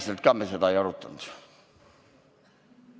Seda me ei arutanud.